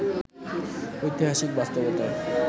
ঐতিহাসিক বাস্তবতায়